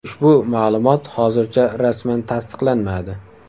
Ushbu ma’lumot hozircha rasman tasdiqlanmadi.